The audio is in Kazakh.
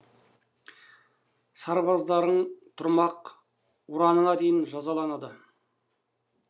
сарбаздарың тұрмақ ұраныңа дейін жазаланды